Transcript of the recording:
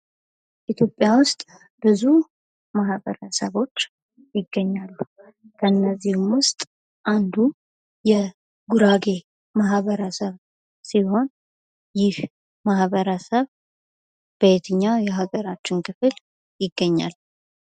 ኢትዮጵያ ውስጥ ብዙ ማህበረሰቦች ይገኛሉ ። እነዚህም ውስጥ አንዱ የጉራጌ ማህበረሰብ ሲሆን ይህ ማህበረሰብ በየትኛው የሀገራችን ክፍል ይገኛል?